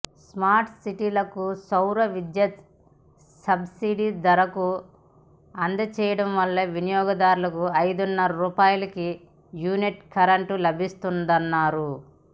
smart సిటీలకు సౌర విద్యుత్ను సబ్సిడీ ధరకు అం దచేయటం వల్ల వినియోగదారుకు ఐదున్నర రూపాయలకే యూనిట్ కరెంట్ లభిస్తుందన్నారు